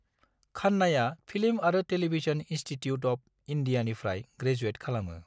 खान्नाया film आरो television institute of इंडियानिफ्राय graduate खालामो।